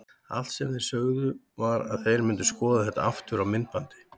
Allt sem þeir sögðu var að þeir myndu skoða þetta aftur á myndbandi.